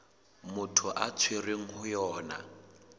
motho a tshwerweng ho yona